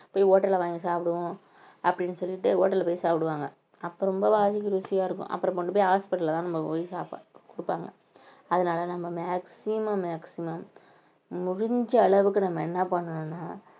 போய் hotel ல வாங்கி சாப்பிடுவோம் அப்படின்னு சொல்லிட்டு hotel ல போய் சாப்பிடுவாங்க அப்ப ரொம்ப ருசியா இருக்கும் அப்புறம் கொண்டு போய் hospital லதான் நம்ம போய் சாப்ப~ கொடுப்பாங்க அதனால நம்ம maximum maximum முடிஞ்ச அளவுக்கு நம்ம என்ன பண்ணணும்ன்னா